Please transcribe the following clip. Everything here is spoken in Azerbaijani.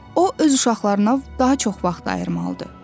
O öz uşaqlarına daha çox vaxt ayırmalıdır.